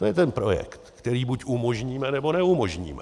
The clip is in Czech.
To je ten projekt, který buď umožníme, nebo neumožníme.